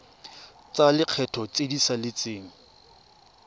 tsa lekgetho tse di saletseng